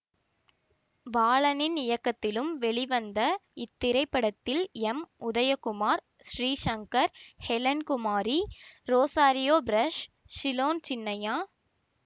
பாலனின் இயக்கத்திலும் வெளிவந்த இத்திரைப்படத்தில் M Udayakumar Sri Shankar Helen Kumari Rosario ப்ரஷ் சிலோன் சின்னையா